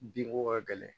Binko ka gɛlɛn